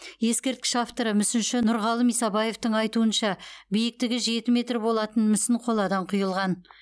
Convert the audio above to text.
ескерткіш авторы мүсінші нұрғалым исабаевтың айтуынша биіктігі жеті метр болатын мүсін қоладан құйылған